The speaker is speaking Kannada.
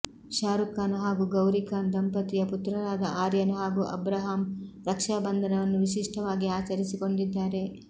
ಶಾರುಖ್ ಖಾನ್ ಹಾಗೂ ಗೌರಿ ಖಾನ್ ದಂಪತಿಯ ಪುತ್ರರಾದ ಆರ್ಯನ್ ಹಾಗೂ ಅಬ್ರಹಾಂ ರಕ್ಷಾ ಬಂಧನವನ್ನು ವಿಶಿಷ್ಟವಾಗಿ ಆಚರಿಸಿಕೊಂಡಿದ್ದಾರೆ